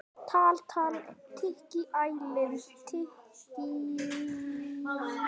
Stendur lengi kyrr.